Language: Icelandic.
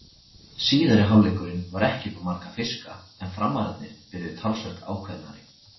Síðari hálfleikurinn var ekki upp á marga fiska en Framararnir byrjuðu talsvert ákveðnari.